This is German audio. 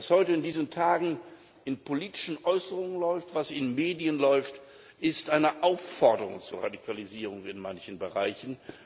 Was heute in diesen Tagen in politischen Äußerungen läuft, was in Medien läuft, ist eine Aufforderung zur Radikalisierung in manchen Bereichen.